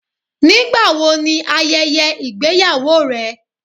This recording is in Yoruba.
Nígbàwó ní ayẹyẹ igbeyàwó rẹ?